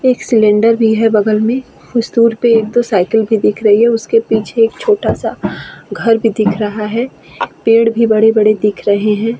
एक सिलिंडर भी है बगल में कुछ दूर पे एक दो साइकिल भी दिख रही है। उसके पीछे एक छोटा सा घर भी दिख रहा है। पेड़ भी बड़े-बड़े दिख रहे हैं।